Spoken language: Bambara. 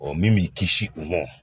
min b'i kisi u mɔ